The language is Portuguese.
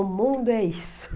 O mundo é isso.